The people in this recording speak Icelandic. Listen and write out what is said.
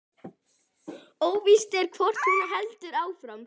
Óvíst er hvort hún heldur áfram